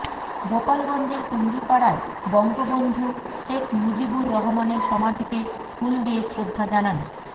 গোপালগঞ্জের টুঙ্গিপাড়ায় বঙ্গবন্ধু শেখ মুজিবুর রহমানের সমাধিতে ফুল দিয়ে শ্রদ্ধা জানান